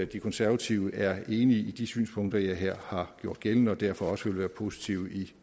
de konservative er enige i de synspunkter jeg her har gjort gældende og derfor også vil være positive i